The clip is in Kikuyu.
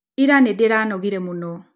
Ira nĩndĩranogire mũno.